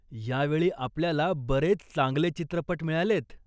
यावेळी आपल्याला बरेच चांगले चित्रपट मिळालेयत.